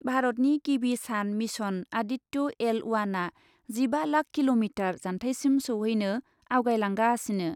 भारतनि गिबि सान मिशन आदित्य एल अवानआ जिबा लाख किल'मिटार जान्थाइसिम सौहैनो आवगायलांगासिनो ।